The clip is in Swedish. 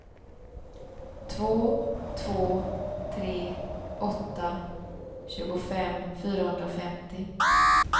två två tre åtta tjugofem fyrahundrafemtio